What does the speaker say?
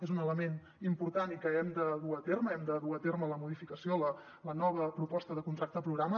és un element important i que hem de dur a terme hem de dur a terme la modificació la nova proposta de contracte programa